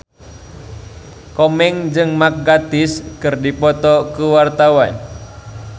Komeng jeung Mark Gatiss keur dipoto ku wartawan